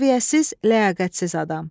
Səviyyəsiz, ləyaqətsiz adam.